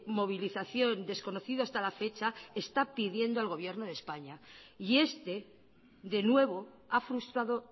movilización desconocido hasta la fecha está pidiendo al gobierno de españa y este de nuevo ha frustrado